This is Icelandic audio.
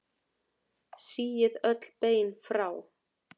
Síið öll bein frá.